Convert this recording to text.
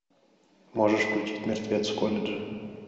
можешь включить мертвец в колледже